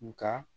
Nka